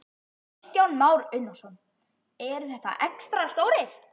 Kristján Már Unnarsson: Eru þeir extra stórir?